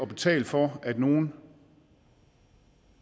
betale for at nogle